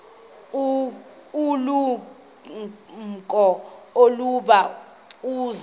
ulumko ukuba uza